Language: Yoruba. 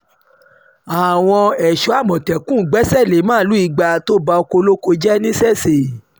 àwọn ẹ̀ṣọ́ àmọ̀tẹ́kùn gbèsè lé màálùú ìgbà tó ba ọkọ̀ olóko jẹ́ nìṣeṣe